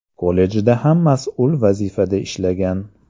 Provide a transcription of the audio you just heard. Kollejda ham mas’ul vazifada ishlagan.